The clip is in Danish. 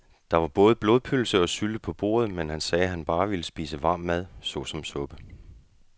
Der var både blodpølse og sylte på bordet, men han sagde, at han bare ville spise varm mad såsom suppe.